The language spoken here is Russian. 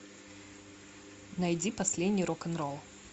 найди последний рок н ролл